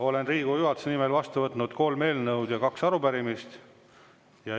Olen Riigikogu juhatuse nimel vastu võtnud kolm eelnõu ja kaks arupärimist.